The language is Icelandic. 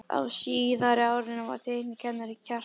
Á síðara árinu var teiknikennarinn Kjartan